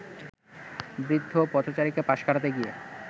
বৃদ্ধ পথচারীকে পাশ কাটাতে গিয়ে